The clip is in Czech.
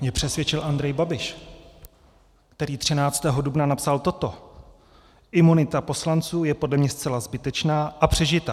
Mě přesvědčil Andrej Babiš, který 13. dubna napsal toto: "Imunita poslanců je podle mne zcela zbytečná a přežitá.